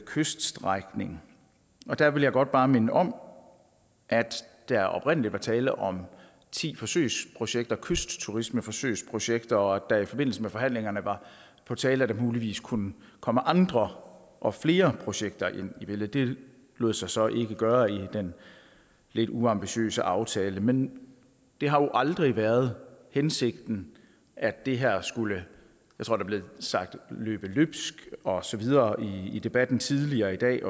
kyststrækning der vil jeg godt bare minde om at der oprindelig var tale om ti forsøgsprojekter kystturismeforsøgsprojekter og at det i forbindelse med forhandlingerne var på tale at der muligvis kunne komme andre og flere projekter ind i billedet det lod sig så ikke gøre i den lidt uambitiøse aftale men det har jo aldrig været hensigten at det her skulle jeg tror der blev sagt løbe løbsk og så videre i debatten tidligere i dag